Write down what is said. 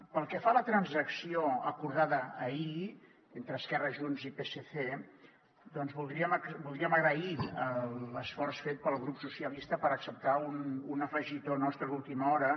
pel que fa a la transacció acordada ahir entre esquerra junts i psc voldríem agrair l’esforç fet pel grup socialistes per acceptar un afegitó nostre d’última hora